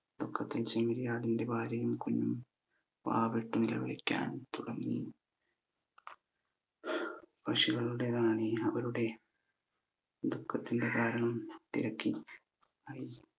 ദുഃഖത്തിൽ ചെമ്മരിയാടിന്റെ ഭാര്യയും കുഞ്ഞും വാവിട്ട് നിലവിളിക്കാൻ തുടങ്ങി അവരുടെ ദുഃഖത്തിന്റെ കാരണം തിരക്കി